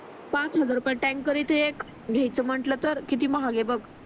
पाच हजार रुपयात टँकर येते एक घेते म्हटले तर किती महाग आहे बघ